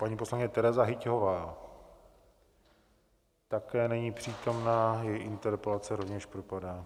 Paní poslankyně Tereza Hyťhová také není přítomna, její interpelace rovněž propadá.